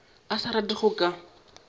a sa rate go ka